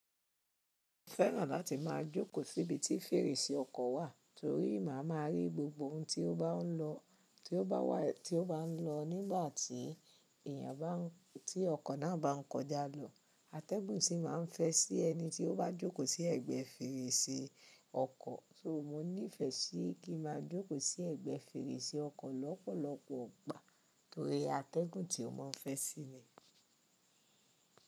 Mo fẹ́ràn láti máa jókòó síbi tí fèrèsé ọkọ̀ wà, torí màá ma rí gbogbo ohun ti o bá ń lọ, ti o bá wà, tó bá ń lọ nígbà tí èèyàn bá ń, tí ọkọ̀ náà bá ń kọjá lọ. Atẹ́gùn sì máa ń fẹ́ sí ẹni tí ó bá jókòó sí ẹ̀gbẹ́ fèrèsé ọkọ̀. So mo nífẹ̀ẹ́ sí kí n máa jókòó sí ẹ̀gbẹ́ fèrèsé ọkọ̀ lọ́pọ̀lọpọ̀ ìgbà, torí atẹ́gùn tí ó máa ń fẹ́ sí mi.